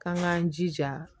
K'an k'an jija